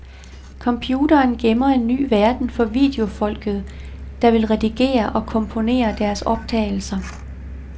Computeren gemmer en ny verden for videofolket, der vil redigere og komponere deres optagelser.